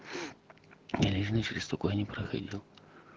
и лишний через сто куда не проходил